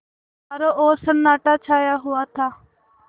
चारों ओर सन्नाटा छाया हुआ था